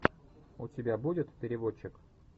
у тебя будет переводчик